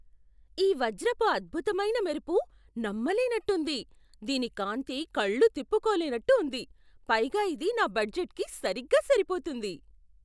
ఈ వజ్రపు అద్భుతమైన మెరుపు నమ్మలేనట్టు ఉంది! దీని కాంతి కళ్ళు తిప్పుకోలేనట్టు ఉంది, పైగా ఇది నా బడ్జెట్కి సరిగ్గా సరిపోతుంది.